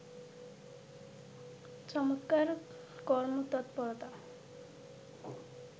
চমৎকার কর্মতৎপরতা